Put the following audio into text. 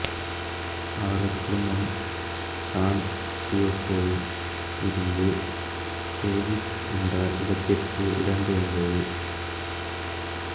அவரது குடும்பம் சான் டியேகோவில் இருந்து டேவிஸ் என்ற இடத்துக்கு இடம்பெயர்ந்தது